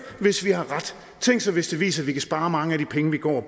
hvis vi har ret tænk sig hvis det viser at vi kan spare mange af de penge vi går